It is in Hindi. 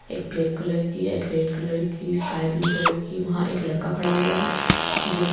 एक ब्लैक कलर की एक रेड कलर की स्काई ब्लू कलर की वहां एक लड़का खड़ा हुआ है जो--